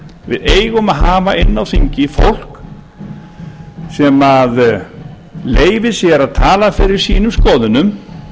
við eigum að hafa inn i á þingi fólk sem leyfir sér að tala fyrir sínum skoðunum